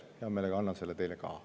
Hea meelega annan selle teile ka.